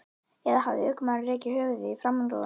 Eða hafði ökumaðurinn rekið höfuðið í framrúðuna?